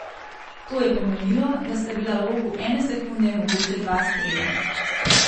To je pomenilo, da sta bila v roku ene sekunde mogoča dva strela.